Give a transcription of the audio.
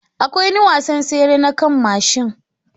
Akwai wani wasan tsere na kan mashin